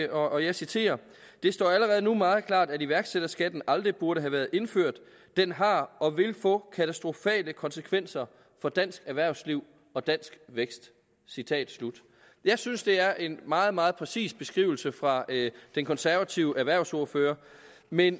og jeg citerer det står allerede nu meget klart at iværksætterskatten aldrig burde have været indført den har og vil få katastrofale konsekvenser for dansk erhvervsliv og dansk vækst citat slut jeg synes det er en meget meget præcis beskrivelse fra den konservative erhvervsordfører men